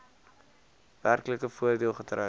werklike voordeel getrek